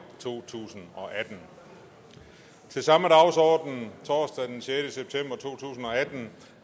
to tusind og atten til samme dagsorden torsdag den sjette september to tusind